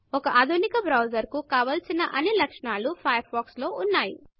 ఒక ఆధునిక బ్రౌజర్ కు కావలసిన అన్నీ లక్షణాలు ఫయర్ ఫాక్స్ లో ఉన్నయి